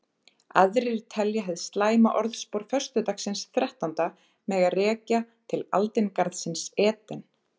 Aðrir telja hið slæma orðspor föstudagsins þrettánda mega rekja til aldingarðsins Eden.